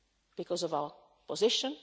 play because of our position